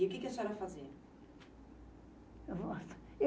E o que que a senhora fazia?